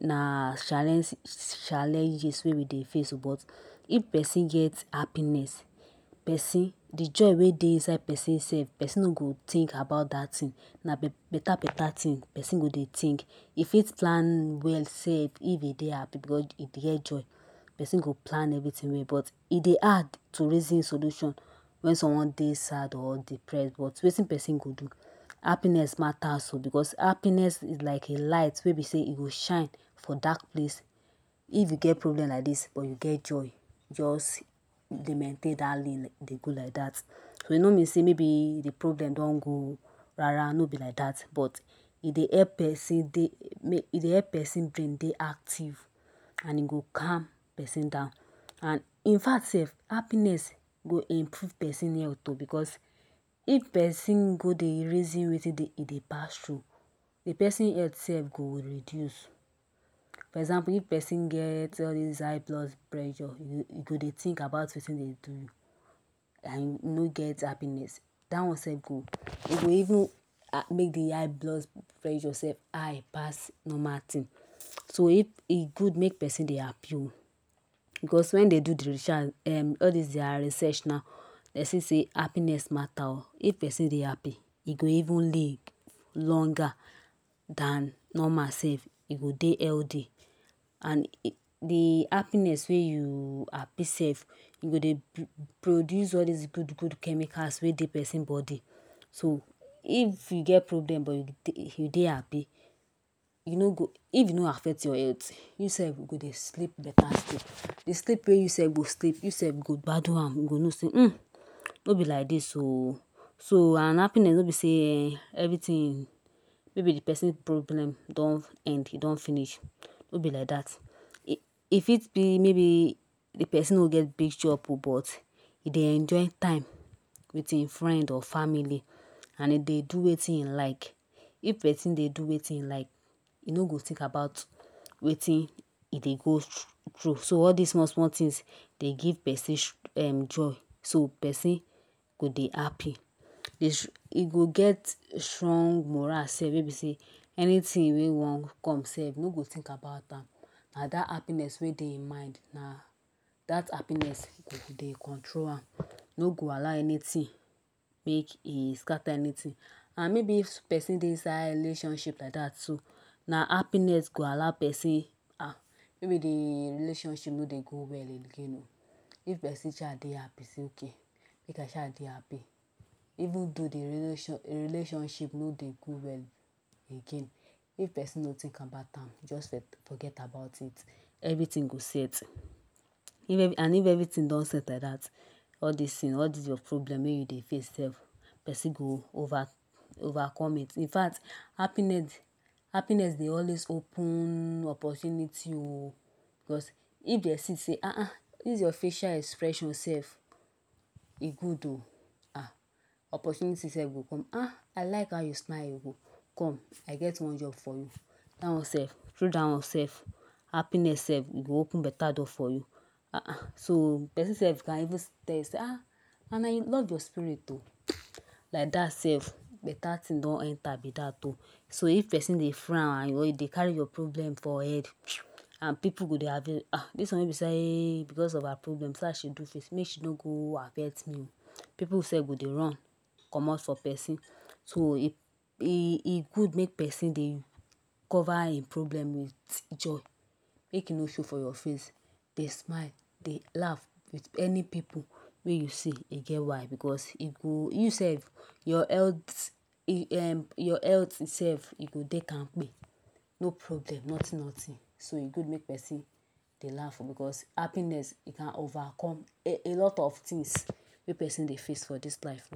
na challenges wey we dey face oo but if person get happiness person de joy wey dey inside person sef person no go think about that thing na beta beta things person go dey think e fit plan well sef if e dey happy because e get joy person go plan everything well but e dey hard to reason solutions wen someone dey sad or depressed but wetin person go do happiness matas oh because happiness is like a light wey be say e go shine for dark place if you get problem like this but you get joy just dey maintain that lane dey go like that e no mean say maybe de problem don go rara no be like that but e dey help person e dey help person brain dey active and e go calm person down sef infact sef happiness go improve person health oh because if person go dey reason wetin dem dey pass through de person health sef go reduce example if person get all this high blood pressure e go dey think about wetin e go do and e no get happiness that one sef e go even make de eye blood pressure self high pass normal thing so if e good make person dey happy so because when dey do that research all this their research now dem see say happiness mata oo if person dey happy e go even live longer than normal sef e go dey healthy and de happiness wey you happy sef you go dey produce all those good good chemicals wey dey person body so if you get problem but you dey happy you no go if e no affect your health you self go dey sleep beta sleep de sleep wey you sef go sleep you sef go gbadun am you no know say hmm no be like this ok so and happiness no be say everything maybe de person problem don end e don finish no be like that e fit be maybe de person no get big job oo but e dey enjoy time with him friend or family and e dey do wetin e like if person dey do wetin hin like e no go think about wetin e dey go through so all this small small things dey give person um joy so person go dey happy e go get strong moral sef wey be say anything wey wan come sef e no go think about am na that happiness wey dey him mind na that happiness dey control am e no go allow anything make e scatter anything and maybe person dey inside relationship like that too na happiness go allow person maybe de relationship no dey go well again oo if person sha dey happy say okay make I sha dey happy even tho de relationship no dey go well again if person no think about am just forget about it everything go set and if everything don set like that all this your problem wey you dey face sef person go over overcome it infact happiness dey always open opportunities oo because if dem see say um this your facial expressions sef e good oo um opportunity sef go come ah I like how you smile come I get one job for you if that one sef happiness sef e go happen beta doors for you um person self can even tell you say and I love your spirit oo like that sef beta things done enter be that oo so if person dey frown and or e dey carry your problem for head and people go dey happy um this one wey be say because of her problem see how she do face make she no go affect me oo people sef go dey run comot for person so e good make person dey cover him problem with joy make e no show for your face dey smile dey laugh with any people wey you see e get why because e go you sef your health um your health sef e go dey kampe no problem nothing nothing so e good make person dey laugh because happiness e can overcome alot of things wey person dey face for this life